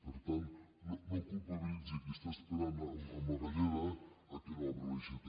per tant no culpabilitzi qui està esperant amb la galleda que no obre l’aixeta